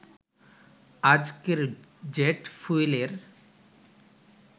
আজকের জেট ফুয়েলের